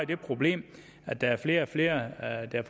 det problem at der er flere og flere af dem